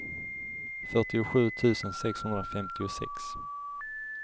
fyrtiosju tusen sexhundrafemtiosex